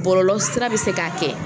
Bɔlɔlɔsira bɛ se k'a kɛ